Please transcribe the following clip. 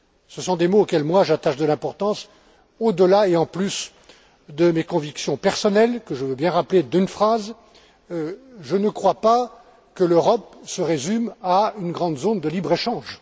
Ce sont des mots auxquels j'attache de l'importance, au delà et en plus de mes convictions personnelles, que je veux bien rappeler d'une phrase je ne crois pas que l'Europe se résume à une grande zone de libre échange.